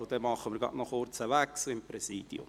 Wir machen einen kurzen Wechsel im Präsidium.